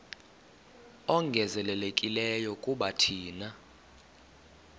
ongezelelekileyo kuba thina